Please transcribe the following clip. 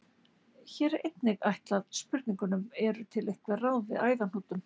Hér er einnig svarað spurningunum: Eru til einhver ráð við æðahnútum?